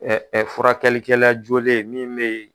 ɛƐ furakɛli kɛ la jolen min be yen